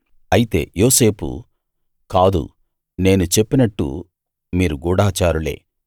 అయితే యోసేపు కాదు నేను చెప్పినట్టు మీరు గూఢచారులే